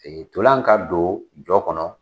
Tolan ka don jɔ kɔnɔ